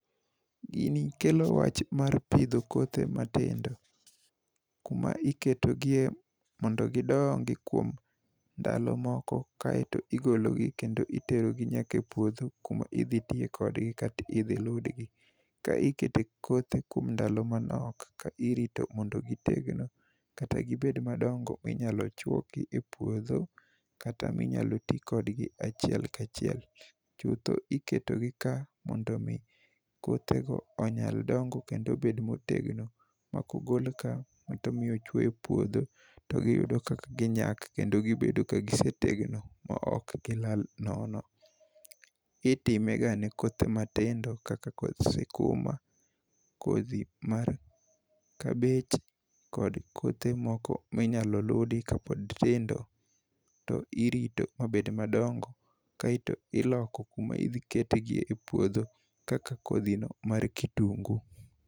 Gini kelo wach mar pidho kothe matindo kuma iketogie mondo gidongi kuom ndalo moko, kaeto igologi kendo iterogi nyaka e puodho kuma idhi tiye kodgi kata idhi ludgi. Ka ikete kothe kuom ndalo manok ka irito mondo gitegno kata gibed madongo minyalo choki e puodho kata minyalo ti kodgi achiel kachiel chutho. Iketogi ka mondo omi kothego onyal dongo kendo bed motegno mok ogol ka e puodho to giyudo kaka ginyak kendo gibedo ka gisetegno ma ok gilal nono. Itimega ne kothe matindo kaka koth sikuma, kodhi mar kabej kod kothe moko minyalo ludi kapod tindo to irito mabed madongo kaeto iloko kuma idhi ketegie e puodho kaka kodhino mar kitungu.